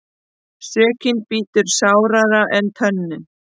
Sökin bítur sárara en tönnin.